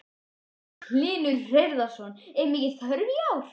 Magnús Hlynur Hreiðarsson: Er mikil þörf í ár?